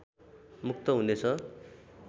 मुक्त हुनेछ